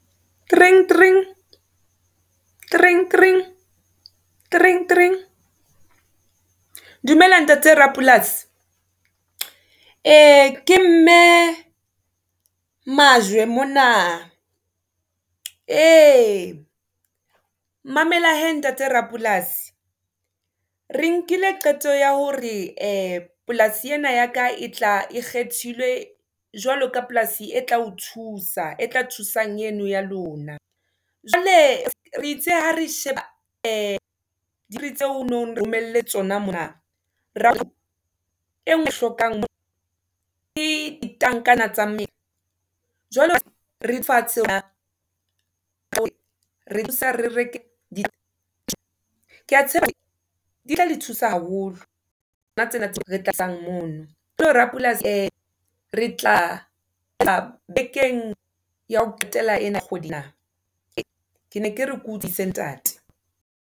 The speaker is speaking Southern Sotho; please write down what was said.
Dumela ntate rapolasi ke mme majwe mona, e mamela hee ntate rapolasi. Re nkile qeto ya hore polasi ena ya ka e tla e kgethilwe jwalo ka polasi e tla o thusa e tla thusang eno ya lona. Jwale re itse ha re sheba tseo o no nromele tsona mona re hlokang ke tankana tsa Jwale re fatshe re di tla le thusa haholo etsang mono borapolasi, e re tla tla bekeng ya ho qetela ena ya kgwedi ena ne ke re ke o tsebise ntate.